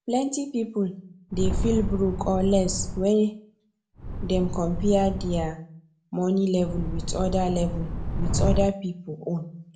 plenty people dey feel broke or less when dem compare their money level with other level with other people own